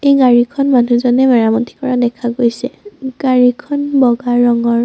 গাড়ীখন মানুহজনে মেৰামতি কৰা দেখা গৈছে গাড়ীখন বগা ৰঙৰ।